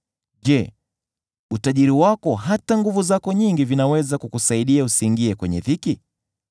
Je, utajiri wako hata nguvu zako nyingi vinaweza kukusaidia usiingie kwenye dhiki?